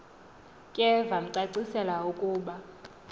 ke vamcacisela ukuba